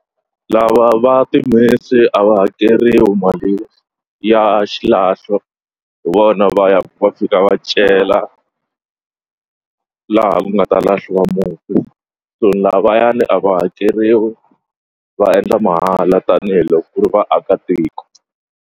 Lava va timhisi a va hakeriwi mali ya xilahlo hi vona va ya va fika va cela laha ku nga ta lahliwa mufi so lavayani a va hakeriwi va endla mahala tanihiloko ku ri vaakatiko.